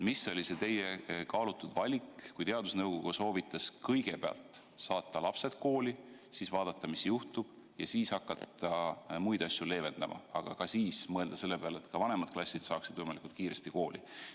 Mis oli teie kaalutud valik, kui teadusnõukoda soovitas kõigepealt saata nooremad lapsed kooli, siis vaadata, mis juhtub, ja siis hakata muid piiranguid leevendama, mõeldes eelkõige selle peale, et ka vanemad klassid saaksid võimalikult kiiresti kooli.